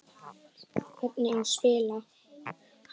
Hvernig á spila?